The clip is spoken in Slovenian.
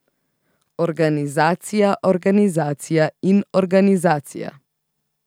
Organizacija, organizacija in organizacija.